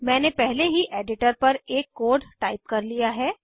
मैंने पहले ही एडिटर पर एक कोड टाइप कर लिया है